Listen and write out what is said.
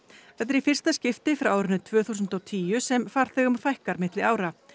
þetta er í fyrsta skipti frá árinu tvö þúsund og tíu sem farþegum fækkar milli ára